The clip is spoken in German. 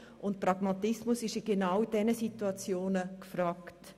Und Pragmatismus ist in solchen Situationen gefragt.